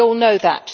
we all know that.